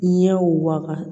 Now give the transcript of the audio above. Ɲɛw waga